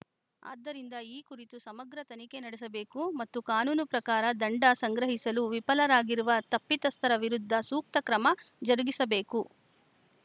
ಆದ್ದರಿಂದ ಈ ಕುರಿತು ಸಮಗ್ರ ತನಿಖೆ ನಡೆಸಬೇಕು ಮತ್ತು ಕಾನೂನು ಪ್ರಕಾರ ದಂಡ ಸಂಗ್ರಹಿಸಲು ವಿಫಲರಾಗಿರುವ ತಪ್ಪಿತಸ್ಥರ ವಿರುದ್ಧ ಸೂಕ್ತ ಕ್ರಮ ಜರುಗಿಸಬೇಕು